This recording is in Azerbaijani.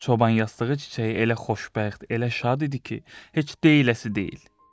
Çoban yastığı çiçəyi elə xoşbəxt, elə şad idi ki, heç deyiləsi deyil.